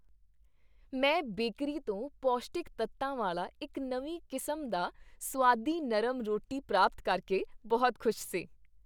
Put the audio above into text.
ਮੈਂ ਬੇਕਰੀ ਤੋਂ ਪੌਸ਼ਟਿਕ ਤੱਤਾਂ ਵਾਲਾ ਇੱਕ ਨਵੀਂ ਕਿਸਮ ਦਾ ਸੁਆਦੀ ਨਰਮ ਰੋਟੀ ਪ੍ਰਾਪਤ ਕਰਕੇ ਬਹੁਤ ਖੁਸ਼ ਸੀ।